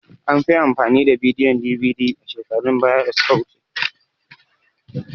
An fi amfani da bidiyon DVD a shekarun baya da suka wuce.